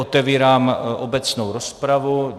Otevírám obecnou rozpravu.